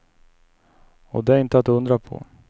Och det är inte att undra på.